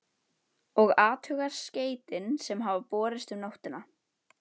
Og athugar skeytin sem hafa borist um nóttina?